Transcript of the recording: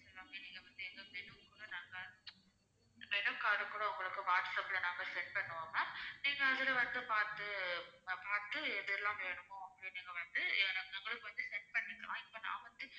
நீங்க வந்து எங்க schedule குள்ள நாங்க menu card கூட உங்களுக்கு whatsapp ல நாங்க send பண்ணுவோம் ma'am நீங்க அதுல வந்து பார்த்து பார்த்து எதெல்லாம் வேணுமோ வந்து நீங்க வந்து எங்களுக்கு வந்து send பண்ணுங்க இப்போ நான் வந்து